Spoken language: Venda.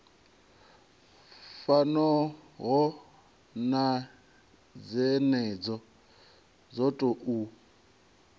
fanaho na dzenedzo dzo tou